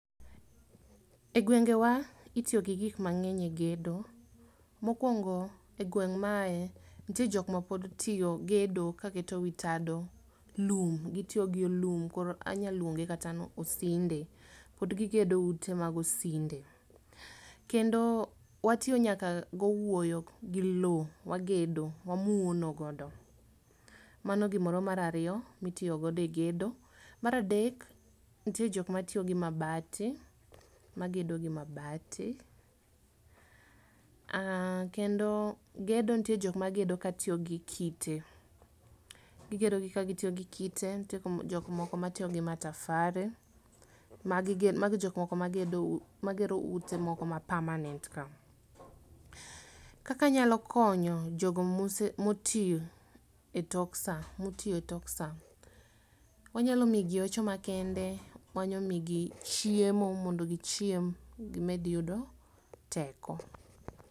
E gwengewa, itio gi gik mang'eny e gedo. Mokwongo, e gweng' maae, ntie jok ma pod tio gedo ka keto wii tado lum, gitio gi o lum, koro anyaluonge kata ni osinde, pod gigedo ute mag osinde. Kendo watio nyaka gowuoyo gi lowo, wagedo, wamuono godo. Mano gimoro marario mitio godo e gedo. Maradek, ntie jok matio gi mabati, magedo gi mabati uh kendo gedo ntie jok magedo katiogi kite. Gigedo gi kagitiogi kite, ntie jokmoko matio gi matafari, magigin magi jokma magerou magedo ute moko ma permanent ka. Kaka anyalo konyo jogo mose motio e tok saa motioe tok saa, wanyalo miigi hocho makende, wanyamiigi chiemo mondo gichiem gimed yudo teko.